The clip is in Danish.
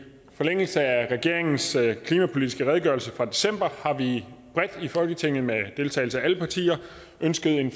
forlængelse af regeringens klimapolitiske redegørelse fra december har vi bredt i folketinget med deltagelse af alle partier ønsket en